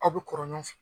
Aw bɛ kɔrɔlen